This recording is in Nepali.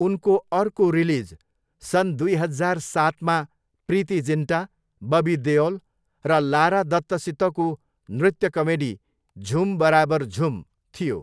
उनको अर्को रिलिज सन् दुई हजार सातमा प्रीति जिन्टा, बबी देओल र लारा दत्तसितको नृत्य कमेडी झुम बराबर झुम थियो।